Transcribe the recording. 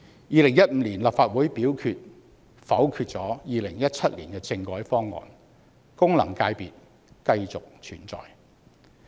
2015年立法會否決2017年政改方案，功能界別繼續存在。